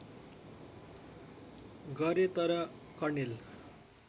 गरे तर कर्णेल